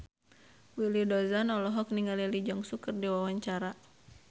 Willy Dozan olohok ningali Lee Jeong Suk keur diwawancara